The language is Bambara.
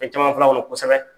caman fɔla kɔnɔ kosɛbɛ.